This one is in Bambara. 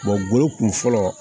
golo kun fɔlɔ